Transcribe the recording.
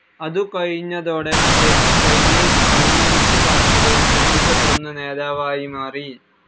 അതു കഴിഞ്ഞതോടെ ഇദ്ദേഹം ചൈനീസ് കമ്മ്യൂണിസ്റ്റ്‌ പാർട്ടിയിലെ ശ്രദ്ധിക്കപ്പെടുന്ന നേതാവായി മാറി.